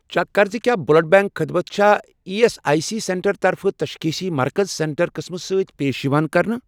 Check کر زِ کیٛاہ بٕلَڈ بیٚنٛک خدمت چھا E S I C centre طرفہٕ تشخیٖصی مرکز سینٹر قٕسمہٕ سۭتۍ پیش یِوان کرنہٕ؟